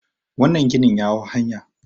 wannan ginin ya hau hanya